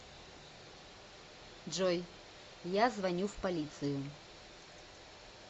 джой я звоню в полицию